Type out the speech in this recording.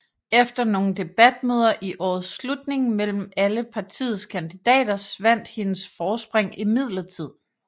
Efter nogle debatmøder i årets slutning mellem alle partiets kandidater svandt hendes forspring imidlertid